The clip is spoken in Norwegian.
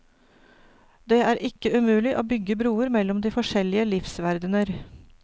Det er ikke umulig å bygge broer mellom de forskjellige livsverdener.